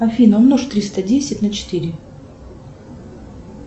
афина умножь триста десять на четыре